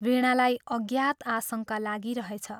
वीणालाई अज्ञात आशङ्का लागिरहेछ।